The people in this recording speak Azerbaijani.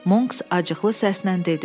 Monks acıqlı səslə dedi: